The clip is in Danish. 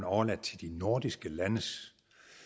overladt til de nordiske landes